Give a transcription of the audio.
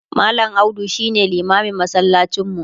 mallam audu shine limamin masallacin mu